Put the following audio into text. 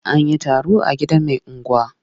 An yi taro a gidan mai unguwa.